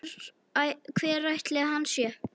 Hver ætli hann sé?